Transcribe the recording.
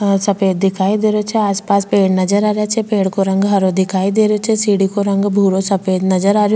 आ सफ़ेद दिखाई दे रहियो छे आस पास पेड़ नजर आ रिया छे पेड़ को रंग हरो दिखाई दे रहियो छे सीढ़ी को रंग भूरो सफ़ेद नजर आ रहियो --